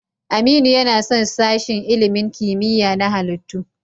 Aminu yana son sashen ilimin kimiyya na halittu.